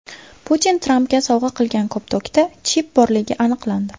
Putin Trampga sovg‘a qilgan koptokda chip borligi aniqlandi.